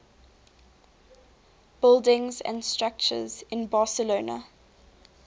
buildings and structures in barcelona